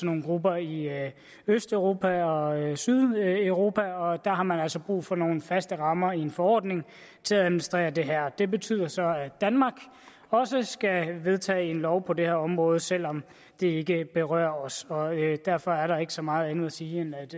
nogle grupper i østeuropa og sydeuropa og der har man altså brug for nogle faste rammer i en forordning til at administrere det her det betyder så at danmark også skal vedtage en lov på det her område selv om det ikke berører os og derfor er der ikke så meget andet at sige end